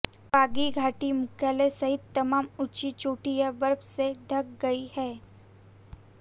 पांगी घाटी मुख्यालय सहित तमाम ऊंची चोटियां बर्फ से ढक गई हैं